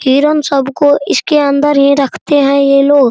हिरण सब को इसके अंदर ही रखते है ये लोग ।